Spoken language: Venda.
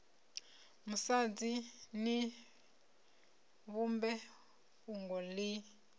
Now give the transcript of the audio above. musadzi ni vhumbe fhungo ḽi